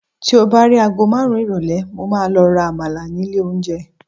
ti o ba ri agọ marun irọlẹ, mo ma lo ra àmàlà ni ilè onje